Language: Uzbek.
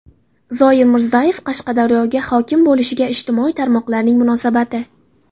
Zoir Mirzayev Qashqadaryoga hokim bo‘lishiga ijtimoiy tarmoqlarning munosabati.